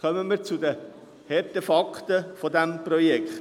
Kommen wir zu den harten Fakten dieses Projekts: